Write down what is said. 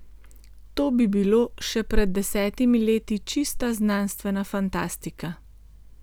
To bi bilo še pred desetimi leti čista znanstvena fantastika.